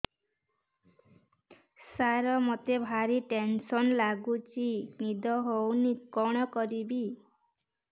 ସାର ମତେ ଭାରି ଟେନ୍ସନ୍ ଲାଗୁଚି ନିଦ ହଉନି କଣ କରିବି